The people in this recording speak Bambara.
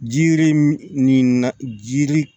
Jiri min nin na jiri